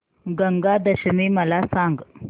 गंगा दशमी मला सांग